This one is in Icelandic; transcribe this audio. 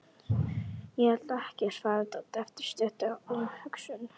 Ég held ekki, svarar Doddi eftir stutta umhugsun.